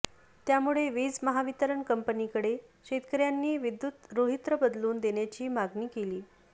त्यामुळे वीज महावितरण कंपनीकडे शेतकऱ्यांनी विद्युत रोहित्र बदलुन देण्याची मागणी केली